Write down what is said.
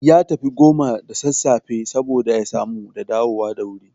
Ya tafi goma da sassafe saboda ya samu da dawo da wuri